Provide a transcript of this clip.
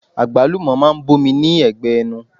Agbalumo máa ń bomi ní ẹgbẹ ẹnu.